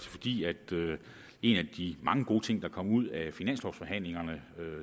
fordi en af de mange gode ting der kom ud af finanslovforhandlingerne